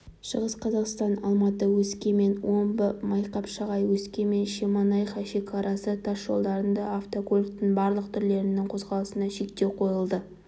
шығыс қазақстан алматы өскемен омбы майқапшағай өскемен-шемонаиха шекарасы тас жолдарында автокөліктің барлық түрлерінің қозғалысына шектеу қойылды